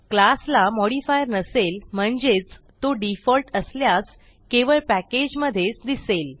class ला modifier नसेल म्हणजेच तो डिफॉल्ट असल्यास केवळ पॅकेज मधेच दिसेल